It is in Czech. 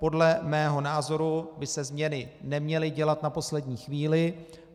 Podle mého názoru by se změny neměly dělat na poslední chvíli.